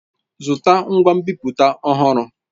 Zụta ngwa nbipute ọhụrụ!